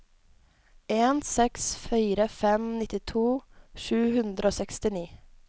en seks fire fem nittito sju hundre og sekstini